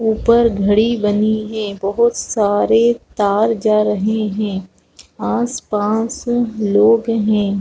ऊपर घड़ी बनी है बहुत सारे तार जा रहे हैं आसपास लोग हैं।